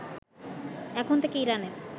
এখন থেকে ইরানের